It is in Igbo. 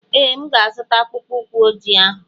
Ee, M ga-azụta akpụkpọ ụkwụ ojii ahụ.